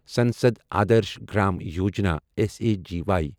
Sansad Adarsh Gram Yojana S A G وایی